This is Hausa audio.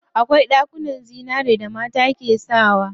Akwai ɗankunnen zinari da mata ke sakawa.